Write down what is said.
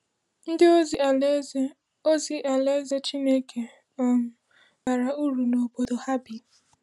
Ndị ozi Alaeze ozi Alaeze Chineke um bara uru n’obodo ha bi.